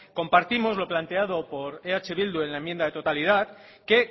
compartimos lo planteado por eh bildu en la enmienda de totalidad que